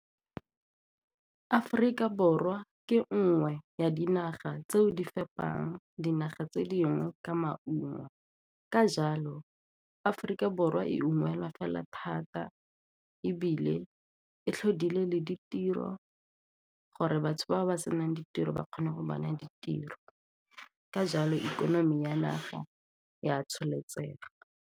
Aforika Borwa ke nngwe ya dinaga tseo di fepang dinaga tse dingwe ka maungo ka jalo Aforika Borwa e ungwelwa fela thata a ebile e tlhodile le ditiro gore batho ba ba senang ditiro ba kgone go bona ditiro, ka jalo ikonomi ya naga ya tsholetsega.